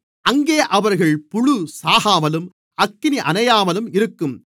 அங்கே அவர்கள் புழு சாகாமலும் அக்கினி அணையாமலும் இருக்கும்